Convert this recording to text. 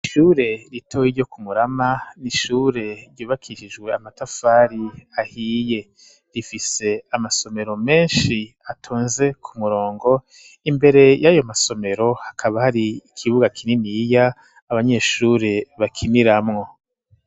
Ishure ritoyi, ryo ku Murama, ni ishure ryubakishijwe, amatafari ahiye; rifise amasomero menshi, atonze ku murongo; imbere y'ayo masomero, hakaba hari, ikibuga kininiya, abanyeshure bakiniramwo.